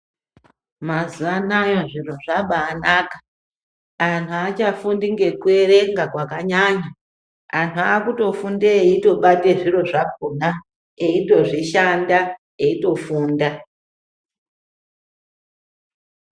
Mazuwa anaya zviro zvabaanaka anhu aachafundi ngekuerenga kwakanyanya anthu akutofunda eitobate zviro zvakhona eitozvishanda eitofunda.